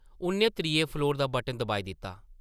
उʼन्नै त्रिये फ्लोर दा बटन दबाई दित्ता ।